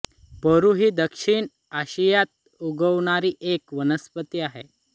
बोरू ही दक्षिण आशियात उगवणारी एक वनस्पती आहे